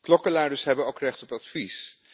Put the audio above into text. Klokkenluiders hebben ook recht op advies.